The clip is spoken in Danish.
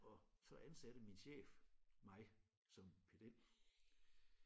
Og så ansatte min chef mig som pedel